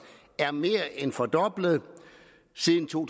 er mere end fordoblet siden to